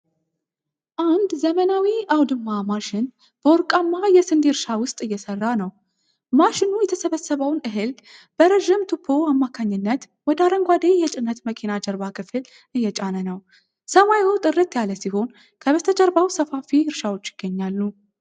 አንድ ዘመናዊ አውድማ ማሽን በወርቃማ የስንዴ እርሻ ውስጥ እየሰራ ነው። ማሽኑ የተሰበሰበውን እህል በረዥም ቱቦ አማካኝነት ወደ አረንጓዴ የጭነት መኪና ጀርባ ክፍል እየጫነ ነው። ሰማዩ ጥርት ያለ ሲሆን ከበስተጀርባው ሰፋፊ እርሻዎች ይገኛሉ።